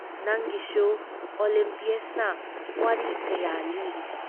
ꯅꯪꯒꯤꯁꯨ ꯑꯣꯂꯤꯝꯄꯤꯌꯁꯅ ꯋꯥꯔꯤ ꯀꯌꯥ ꯂꯤꯔꯤ ꯫